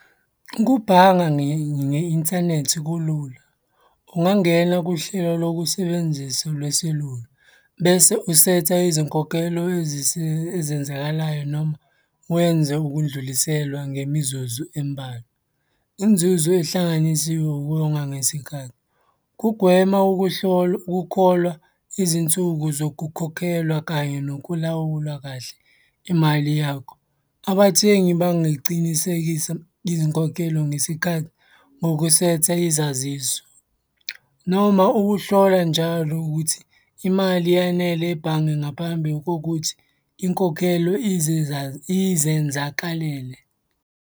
Ukubhanga nge-inthanethi kulula. Ungangena kuhlelo lokusebenzisa lweselula, bese usetha izinkokhelo ezenzakalayo noma wenze ukudluliselwa ngemizuzu embalwa. Inzuzo ey'hlanganisiwe ukonga ngesikhathi. Kugwema ukuhlolwa ukukholwa izinsuku zokukhokhelwa kanye nokulawula kahle imali yakho. Abathengi bangicinisekisa izinkokhelo ngesikhathi ngokusetha izaziso noma ukuhlola njalo ukuthi imali yanele ebhange ngaphambi kokuthi inkokhelo izenzakalele.